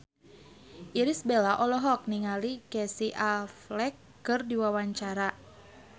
Irish Bella olohok ningali Casey Affleck keur diwawancara